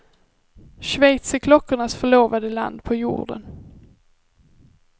Schweiz är klockornas förlovade land på jorden.